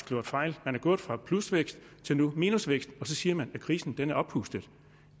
slået fejl man er gået fra plusvækst til minusvækst og så siger man at krisen er oppustet